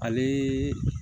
Ale